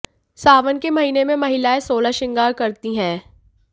सावन के महीने में महिलाएं सोलह श्रृंगार करती हैं